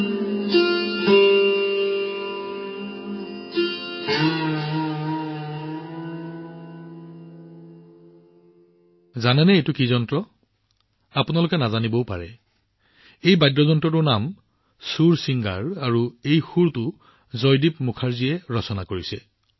আপোনালোকে জানেনে এইটো কি সঁজুলি এইটো সম্ভৱ হব পাৰে যে আপোনালোকে ইয়াৰ বিষয়ে অৱগত নহব পাৰে এই সংগীতবাদ্য মন্ত্ৰৰ নাম হৈছে সুৰচিংগাৰ আৰু এই সুৰটো জয়দীপ মুখাৰ্জীয়ে ৰচনা কৰিছে